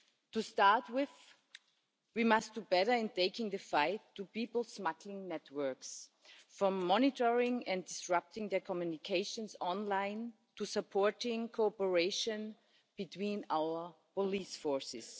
To start with, we must do better in taking the fight to people smuggling networks, from monitoring and disrupting their communications online to supporting cooperation between our police forces.